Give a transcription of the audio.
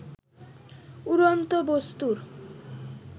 উড়ন্ত বস্তু্র